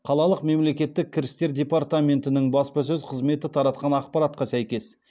қалалық мемлекеттік кірістер департаментінің баспасөз қызметі таратқан ақпаратқа сәйкес